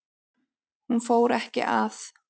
Hún fór ekki að